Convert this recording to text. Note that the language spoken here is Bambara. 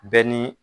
Bɛɛ ni